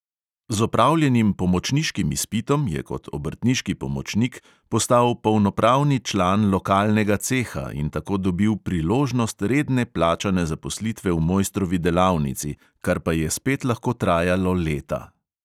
Z opravljenim pomočniškim izpitom je kot obrtniški pomočnik postal polnopravni član lokalnega ceha in tako dobil priložnost redne plačane zaposlitve v mojstrovi delavnici, kar pa je spet lahko trajalo leta.